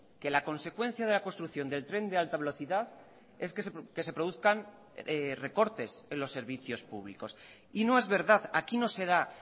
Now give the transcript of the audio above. que la consecuencia de la construcción del tren de alta velocidad es que se produzcan recortes en los servicios públicos y no es verdad aquí no se da